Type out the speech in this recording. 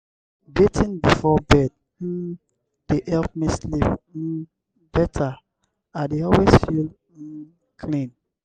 bathing before bed um dey help me sleep um better; i dey always feel um clean.